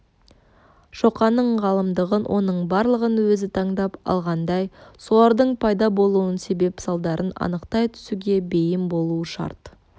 шоқанның ғалымдығын оның барлығын өзі таңдап алғандай солардың пайда болуының себеп-салдарын анықтай түсуге бейім болуы шарт